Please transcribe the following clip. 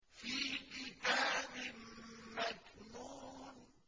فِي كِتَابٍ مَّكْنُونٍ